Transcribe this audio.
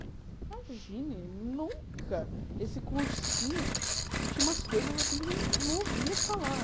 Imagine, nunca, esse cursinho, a gente tinha umas coisas assim que a gente não ouvia falar.